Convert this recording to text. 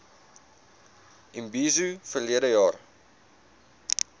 imbizo verlede jaar